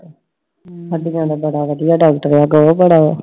ਹੱਡੀਆਂ ਦਾ ਬੜਾ ਵੱਡਾ ਡਾਕਟਰ ਐ I